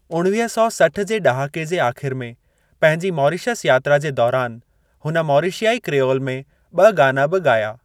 उणवीह सौ सठि जे ॾहाके जे आख़िर में पंहिंजी मॉरीशस यात्रा जे दौरान हुन मॉरिशियाई क्रियोल में ॿ गाना बि ॻाया।